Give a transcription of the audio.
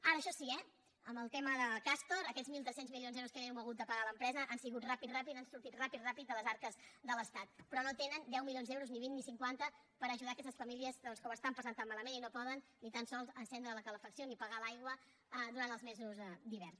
ara això sí eh en el tema de castor aquests mil tres cents milions d’euros que li hem hagut de pagar a l’empresa han sigut ràpids ràpids han sortit ràpid ràpid de les arques de l’estat però no tenen deu milions d’euros ni vint ni cinquanta per ajudar aquestes famílies que ho estan passant tan malament i no poden ni tan sols encendre la calefacció ni pagar l’aigua durant els mesos d’hivern